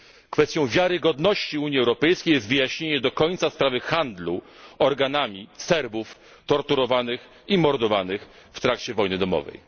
Kwestią wiarygodności Unii Europejskiej jest wyjaśnienie do końca sprawy handlu organami Serbów torturowanych i mordowanych w trakcie wojny domowej.